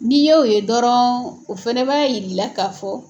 N'i y'o ye dɔrɔn o fɛnɛ b'a yir'i la ka fɔ